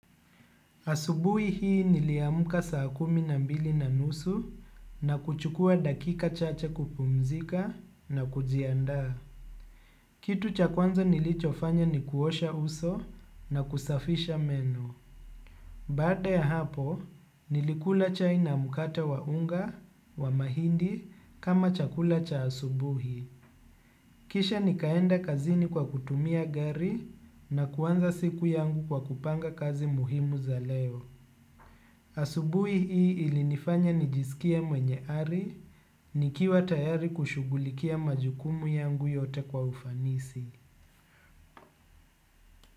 Asubuhi hii niliamka saa kumi na mbili na nusu na kuchukua dakika chache kupumzika na kujiandaa. Kitu cha kwanza nilicho fanya ni kuosha uso na kusafisha meno. Baada ya hapo, nilikula chai na mkate wa unga, wa mahindi kama cha kula cha asubuhi. Kisha nikaenda kazini kwa kutumia gari na kuanza siku yangu kwa kupanga kazi muhimu za leo. Asubuhi hii ilinifanya nijisikie mwenye ari ni kiwa tayari kushugulikia majukumu yangu yote kwa ufanisi.